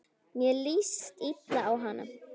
Mér líst illa á hana.